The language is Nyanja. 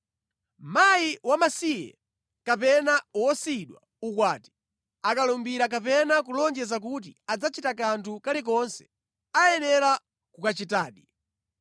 “Mayi wamasiye kapena wosiyidwa ukwati akalumbira kapena kulonjeza kuti adzachita kanthu kalikonse, ayenera kukachitadi.